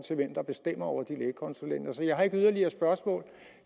der bestemmer over lægekonsulenterne jeg har ikke yderligere spørgsmål